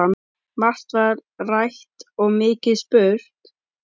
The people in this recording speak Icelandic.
Margt var rætt og mikið spurt.